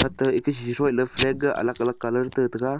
ta eka shethoiley flag ga alag alag colour taitaga.